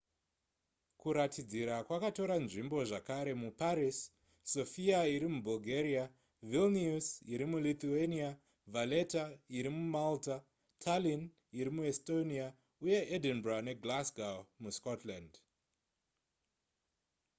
kuratidzira kwakatora nzvimbo zvakare muparis sofia iri mubulgaria vilnius iri mulithuania valetta iri mumalta tallinn iri muestonia uye edinburgh neglasgow muscotland